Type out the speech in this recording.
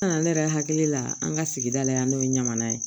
Nana ne yɛrɛ hakili la an ka sigida la yan n'o ye ɲamana ye